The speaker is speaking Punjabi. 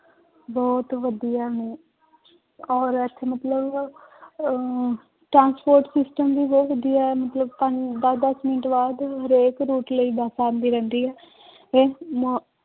ਬਹੁਤ ਵਧੀਆ ਨੇ ਔਰ ਇੱਥੇ ਮਤਲਬ ਅਹ transport system ਵੀ ਬਹੁਤ ਵਧੀਆ ਹੈ, ਮਤਲਬ ਪੰਜ ਦਸ ਦਸ ਮਿੰਟ ਬਾਅਦ ਹਰੇਕ route ਲਈ ਬਸ ਆਉਂਦੀ ਰਹਿੰਦੀ ਹੈ ਮ